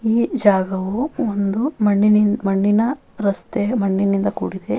ಈ ಜಾಗವು ಒಂದು ಮಣ್ಣಿನಿ ಮಣ್ಣಿನ ರಸ್ತೆ ಮಣ್ಣಿನಿಂದ ಕೂಡಿದೆ.